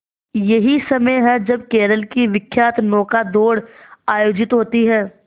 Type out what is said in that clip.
यही समय है जब केरल की विख्यात नौका दौड़ आयोजित होती है